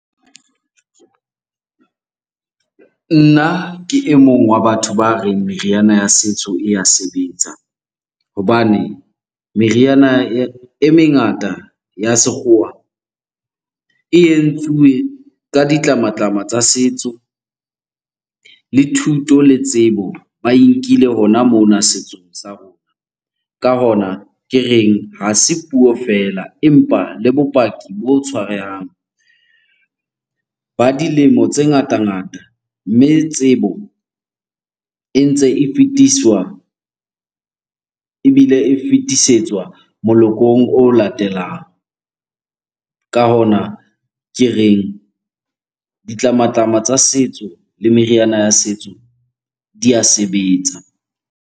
Nna ke e mong wa batho ba reng meriana ya setso e ya sebetsa hobane meriana e mengata e sekgowa e entsuwe ka ditlamatlama tsa setso. Le thuto le tsebo ba e nkile hona mona setsong sa rona. Ka hona ke reng, ha se puo feela empa le bopaki bo tshwarehang ba dilemo tse ngatangata. Mme tsebo e ntse e fetiswa ebile e fetisetswa molokong o latelang. Ka hona ke reng, ditlamatlama tsa setso le meriana ya setso di a sebetsa.